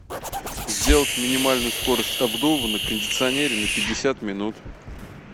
сделать минимальную скорость обдува на кондиционере на пятьдесят минут